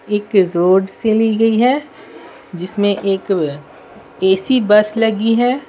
एक रोड से ली गई है जिसमें एक एसी बस लगी है।